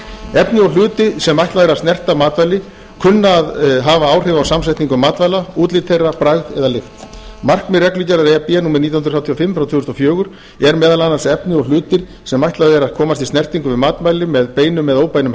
efni og hluti sem ætlað er að snerta matvæli kunna að hafa áhrif á samsetningu matvæla útlit þeirra frægð eða lykt markmið reglugerðar e b númer nítján hundruð þrjátíu og fimm frá tvö þúsund og fjögur er meðal annars efni og hlutir sem ætlað er að komist í snertingu við matvæli með beinum eða óbeinum